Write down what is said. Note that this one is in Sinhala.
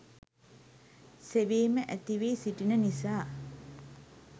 සෙවීම ඇති වී සිටින නිසා